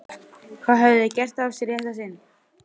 Hvað höfðu þau gert af sér í þetta sinn?